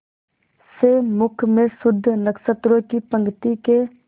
से मुख में शुद्ध नक्षत्रों की पंक्ति के